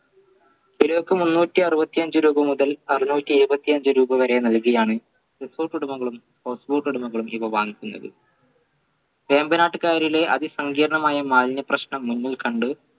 തിരക്ക് മുന്നൂറ്റി അറുപത്തി അഞ്ച മുതൽ അറുന്നൂറ്റി ഏഴുവത്തി അഞ്ച രൂപ വരെ നൽകിയാണ് കുടുംബങ്ങളും കുടുംബങ്ങളും ഇവ വാങ്ങിക്കുന്നത് വേമ്പനാട്ടുകാരിലെ അതിസംഗീർണമായ മാലിന്യ പ്രശ്നം മുന്നിൽകണ്ട്